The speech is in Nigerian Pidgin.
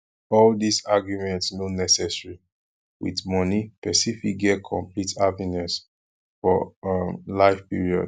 all dis argument no necessary with money person fit get complete happiness for um life period